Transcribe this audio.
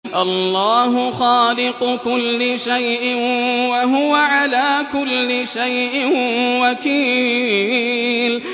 اللَّهُ خَالِقُ كُلِّ شَيْءٍ ۖ وَهُوَ عَلَىٰ كُلِّ شَيْءٍ وَكِيلٌ